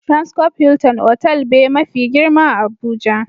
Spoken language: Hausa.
"Transcope Hilton" otal be ma fi girma a Abuja.